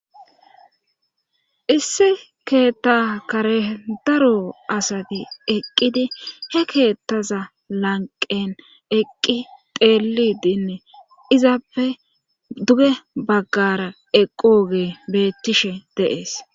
issi keetta karen daro asati eqqidi he keettaza lanqen eqqi teelidinne izappe duge baggara eqqooge beettishe de7ees